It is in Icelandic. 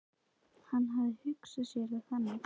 Hann hafði hugsað sér það þannig.